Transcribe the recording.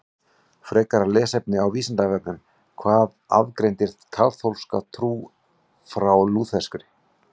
Frekara lesefni á Vísindavefnum Hvað aðgreinir kaþólska trú frá lúterskri?